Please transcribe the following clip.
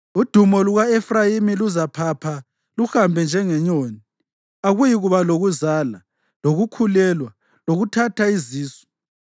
Udumo luka-Efrayimi luzaphapha luhambe njengenyoni, akuyikuba lokuzala, lokukhulelwa, lokuthatha izisu.